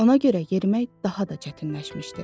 Ona görə yerimək daha da çətinləşmişdi.